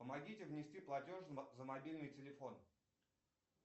помогите внести платеж за мобильный телефон